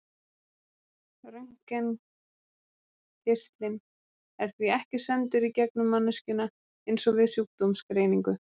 Röntgengeislinn er því ekki sendur í gegnum manneskjuna eins og við sjúkdómsgreiningu.